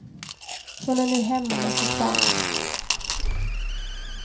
Hon är nu hemma med sitt barn.